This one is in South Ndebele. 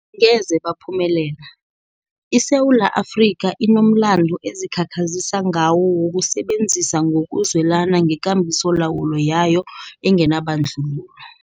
Angeze baphumelela. ISewula Afrika inomlando ezikhakhazisa ngawo wokusebenzisana ngokuzwelana ngekambisolawulo yayo enganabandlululo.